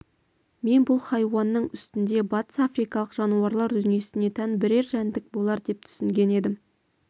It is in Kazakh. мен бұл хайуанның үстінде батыс африкалық жануарлар дүниесіне тән бірер жәндік болар деп түсінген едім